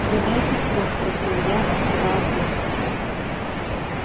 угадайте кто спросил я открывая трубку